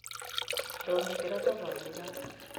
thondekera tabarĩra